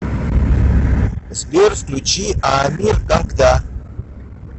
сбер включи аамир кангда